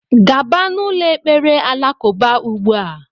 Gaba n' ụlọ ekpere alakụba ugbua!!!!